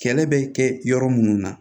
Kɛlɛ bɛ kɛ yɔrɔ minnu na